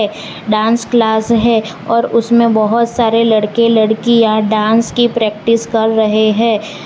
Dance class है और उसमें बहुत सारे लड़के लड़कियां डांस की प्रैक्टिस कर रहे हैं।